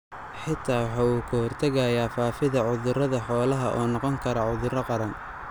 Xitaa waxa uu ka hortagayaa faafidda cudurrada xoolaha oo noqon kara cudurro qaran.